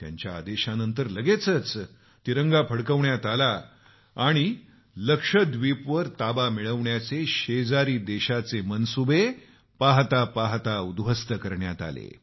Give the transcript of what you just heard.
त्यांच्या आदेशानंतर लगेचच तिरंगा फडकवण्यात आला आणि लक्षद्वीपवर ताबा मिळवण्याचे शेजारी देशाचे मनसुबे पाहता पाहता उध्वस्त करण्यात आले